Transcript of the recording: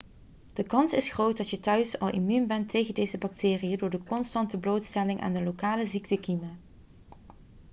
de kans is groot dat je thuis al immuun bent tegen deze bacteriën door de constante blootstelling aan de lokale ziektekiemen